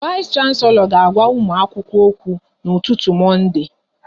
Vais Shanselo ga agwa ụmụ akwụkwọ okwu n'ụtụtụ Monde